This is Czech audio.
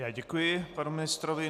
Já děkuji panu ministrovi.